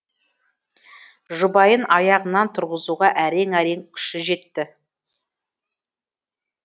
жұбайын аяғынан тұрғызуға әрең әрең күші жетті